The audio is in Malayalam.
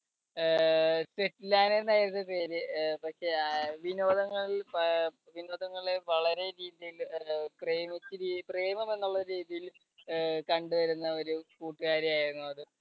അഹ് സെഫലാന ആയിരുന്നു പേര് പക്ഷേ വിനോദങ്ങളിൽ പ വിനോദങ്ങളെ വളരെ രീതിയിൽ പ്രേമിച്ച രീതി പ്രേമം എന്നുള്ള രീതിയിൽ കണ്ടുവരുന്ന ഒരു കൂട്ടുകാരിയായിരുന്നു അത്.